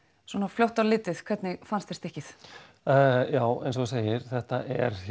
fljótt á litið hvernig fannst þér stykkið já eins og þú segir þetta